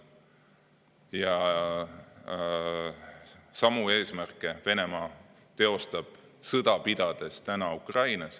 Ja samu eesmärke viib Venemaa sõda pidades ellu Ukrainas.